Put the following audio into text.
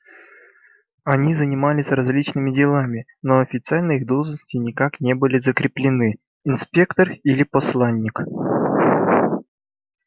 они занимались различными делами но официально их должности никак не были закреплены инспектор или посланник